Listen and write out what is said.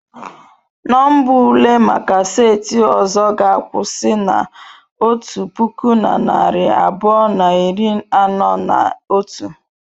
Nọmba ule maka seti ọzọ ga-akwụsị na otu puku na narị abụọ na iri anọ na otu.